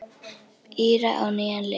Íra á nýjan leik.